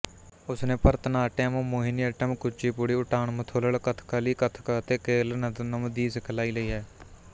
ਉਸਨੇ ਭਰਤਨਾਟਿਅਮ ਮੋਹਿਨੀਅੱਟਮ ਕੁਚੀਪੁੜੀ ਉੱਟਾਨਮਥੁਲਲ ਕਥਕਲੀ ਕਥਕ ਅਤੇ ਕੇਰਲਨਦਨਮ ਦੀ ਸਿਖਲਾਈ ਲਈ ਹੈ